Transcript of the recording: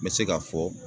N bɛ se ka fɔ